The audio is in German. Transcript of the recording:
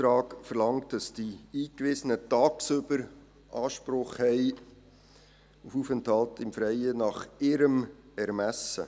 Der Antrag verlangt, dass die Eingewiesenen tagsüber nach ihrem Ermessen Anspruch auf Aufenthalt im Freien haben.